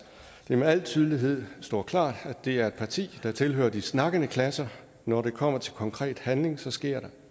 det med al tydelighed står klart at det er et parti der tilhører de snakkende klasser når det kommer til konkret handling sker der